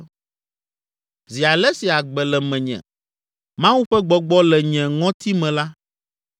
zi ale si agbe le menye, Mawu ƒe gbɔgbɔ le nye ŋɔti me la,